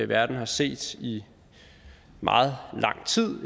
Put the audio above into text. verden har set i meget lang tid